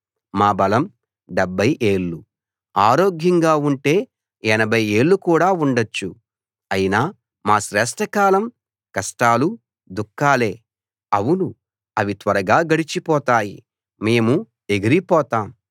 మా బలము డెభ్భై ఏళ్ళు ఆరోగ్యంగా ఉంటే ఎనభై ఏళ్ళుకూడా ఉండొచ్చు అయినా మా శ్రేష్ట కాలం కష్టాలూ దుఃఖాలే అవును అవి త్వరగా గడిచిపోతాయి మేము ఎగిరిపోతాం